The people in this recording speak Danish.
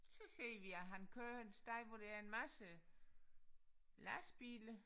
Så ser vi at han kører en sti hvor der er en masse lastbiler